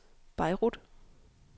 Beirut